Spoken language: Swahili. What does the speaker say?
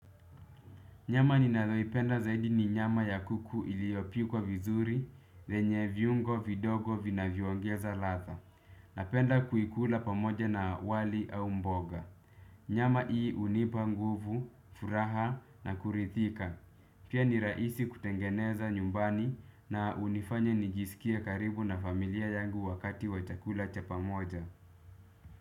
Nyama ninayoipenda zaidi ni nyama ya kuku iliopikwa vizuri venye viungo vidogo vinavyo ongeza ladha. Napenda kuikula pamoja na wali au mboga. Nyama hii hunipa nguvu, furaha na kuridhika. Pia ni rahisi kutengeneza nyumbani na hunifanya nijiskie karibu na familia yangu wakati wa chakula cha pamoja.